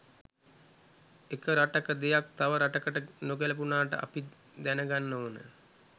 එක රටක දෙයක් තව රටකට නොගැලපුණාට අපි දැනගන්න ඕන